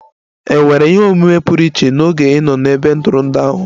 È nwere ihe omume pụrụ iche n'oge ị nọ n'ebe ntụrụndụ ahụ?